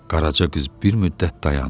Qaraca qız bir müddət dayandı.